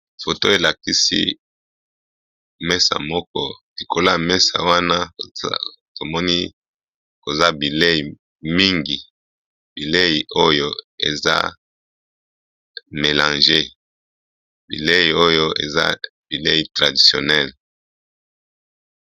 Photo elakisi meza moko likolo ya mesa wana tomoni koza bileyi mingi eza mélange, bileyi oyo eza bileyi traditionnelle .